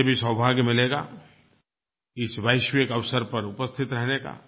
मुझे भी सौभाग्य मिलेगा इस वैश्विक अवसर पर उपस्थित रहने का